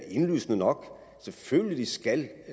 indlysende nok selvfølgelig skal